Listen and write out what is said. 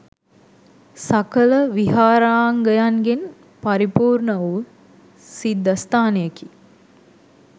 සකල විහාරාංගයන්ගෙන් පරිපුර්ණ වු සිද්ධස්ථානයකි.